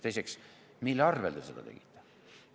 Teiseks, mille arvel te seda tegite?